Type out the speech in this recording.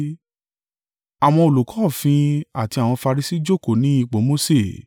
“Àwọn olùkọ́ òfin àti àwọn Farisi jókòó ní ipò Mose,